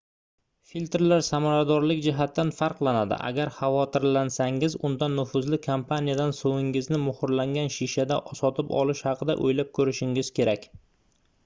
filtrlar samaradorlik jihatidan farqlanadi agar xavotirlansangiz unda nufuzli kompaniyadan suvingizni muhrlangan shishada sotib olish haqida oʻylab koʻrishingiz kerak